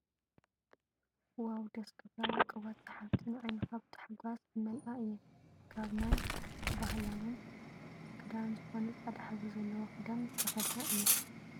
ዋው ደስ ክብላ ውቅባት ስሓብቲ ንዓይኒካ ብታሓጎስ ዝመልኣ እየን። ካብ ናይ ባህላው ክዳን ዝኮነ ፃዕዳ ሕብሪ ዘለዎ ክዳን ዝተከደና እየን።